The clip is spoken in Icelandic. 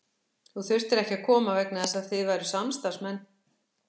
Þú þurftir ekki að koma vegna þess að þið væruð samstarfsmenn.